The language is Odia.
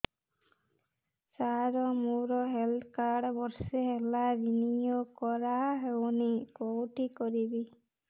ସାର ମୋର ହେଲ୍ଥ କାର୍ଡ ବର୍ଷେ ହେଲା ରିନିଓ କରା ହଉନି କଉଠି କରିବି